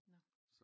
Nåh